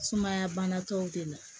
Sumaya bana tɔw de la